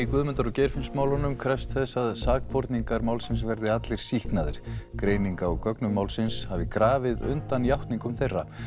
Guðmundar og krefst þess að sakborningar málsins verði allir sýknaðir greining á gögnum málsins hafi grafið undan játningum þeirra